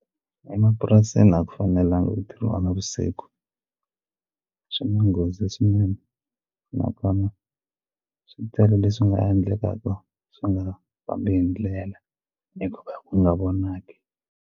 Emapurasini a ku fanelangi ku tirha navusiku swi na nghozi swinene nakona swi tele leswi nga endlekaka swi nga fambi hi ndlela ku nga vonaki.